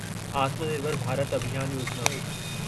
आत्म निर्भर भारत अभियान योजिना